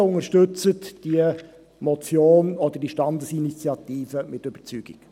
Bitte unterstützen Sie diese Motion beziehungsweise Standesinitiative mit Überzeugung.